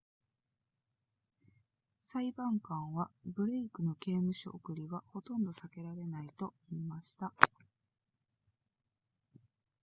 裁判官はブレイクの刑務所送りはほとんど避けられないと言いました